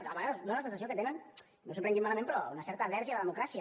a vegades fa la sensació que tenen no s’ho prenguin malament però una certa al·lèrgia a la democràcia